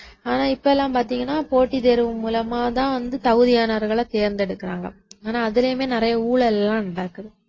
ஆனா இப்ப எல்லாம் பாத்தீங்கன்னா போட்டித் தேர்வு மூலமா தான் வந்து தகுதியானவர்களை தேர்ந்தெடுக்கிறாங்க ஆனா அதுலயுமே நிறைய ஊழல் எல்லாம் நடக்குது